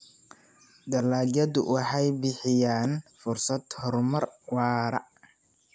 Dalagyadu waxay bixiyaan fursado horumar waara.